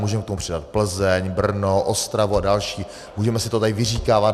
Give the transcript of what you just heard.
Můžeme k tomu přidat Plzeň, Brno, Ostravu a další, můžeme si to tady vyříkávat.